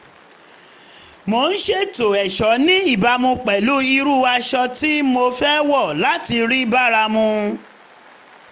mo ń ṣètò ẹ̀ṣọ́ ní ìbámu pẹ̀lú irú aṣọ tí mo fẹ́ wọ̀ láti rí bára mu